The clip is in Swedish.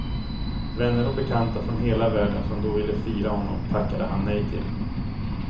Vänner och bekanta från hela världen som då ville fira honom tackade han nej till.